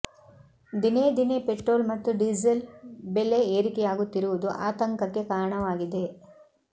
ದಿನೇ ದಿನೇ ಪೆಟ್ರೋಲ್ ಮತ್ತು ಡೀಸೆಲ್ ಬೆಲೆ ಏರಿಕೆಯಾಗುತ್ತಿರುವುದು ಆತಂಕಕ್ಕೆ ಕಾರಣವಾಗಿದೆ